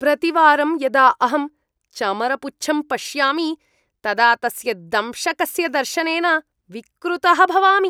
प्रतिवारं यदा अहं चमरपुच्छं पश्यामि, तदा तस्य दंशकस्य दर्शनेन विकृतः भवामि।